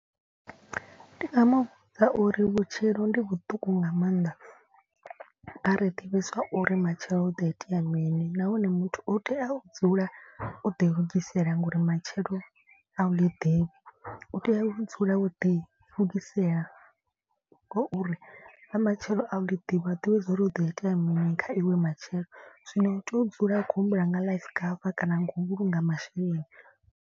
Ndi nga mu vhudza uri vhutshilo ndi vhuṱuku nga maanḓa a ri ḓivhi zwa uri matshelo hu ḓo itea mini nahone muthu u tea u dzula o ḓi lugisela nga uri matshelo a u ḽi ḓivhi. U tea u dzula wo ḓi lugisela ngauri ḽa matshelo a u ḽi ḓivhi a u ḓivhi zwa uri hu do itea mini kha iwe matshelo. Zwino u tea u dzula i khou humbula nga life cover kana nga u vhulunga masheleni.